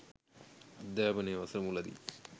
අධ්‍යාපනය වසර මුලදී